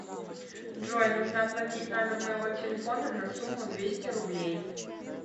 джой нужно оплатить номер моего телефона на сумму двести рублей